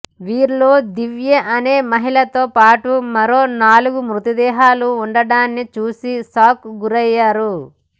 వీరిలో దివ్య అనే మహిళతో పాటు మరో నాలుగు మృతదేహాలు ఉండడాన్నిచూసి షాక్ గురయ్యారు